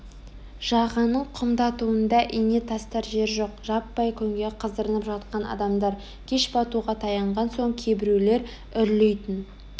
жағаның құмдауытында ине тастар жер жоқ жаппай күнге қыздырынып жатқан адамдар кеш батуға таянған соң кейбіреулер үрлейтін